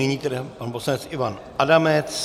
Nyní tedy pan poslanec Ivan Adamec.